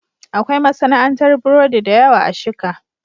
Akwai masana'antar burodi da yawa a Shika.